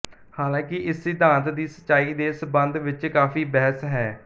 ਹਾਲਾਂਕਿ ਇਸ ਸਿਧਾਂਤ ਦੀ ਸਚਾਈ ਦੇ ਸੰਬੰਧ ਵਿੱਚ ਕਾਫ਼ੀ ਬਹਿਸ ਹੈ